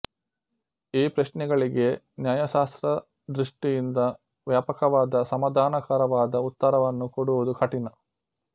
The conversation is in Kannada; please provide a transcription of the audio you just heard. ಈ ಪ್ರಶ್ನೆಗಳಿಗೆ ನ್ಯಾಯಶಾಸ್ತ್ರದೃಷ್ಟಿಯಿಂದ ವ್ಯಾಪಕವಾದ ಸಮಾಧಾನಕರವಾದ ಉತ್ತರವನ್ನು ಕೊಡುವುದು ಕಠಿಣ